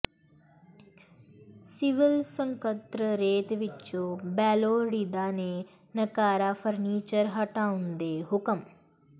civil ਸਕੱਤਰੇਤ ਵਿਚੋਂ ਬੇਲੋੜੀਂਦਾ ਤੇ ਨਕਾਰਾ ਫਰਨੀਚਰ ਹਟਾਉਣ ਦੇ ਹੁਕਮ